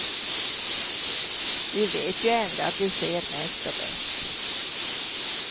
Vi vet ju ändå att vi ser mest och bäst.